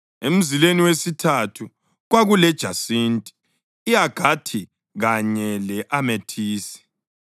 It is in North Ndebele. emzileni wesithathu kwakulejasinti, i-agathi kanye le-amethisi;